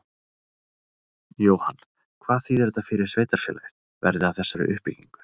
Jóhann: Hvað þýðir þetta fyrir sveitarfélagið, verði af þessari uppbyggingu?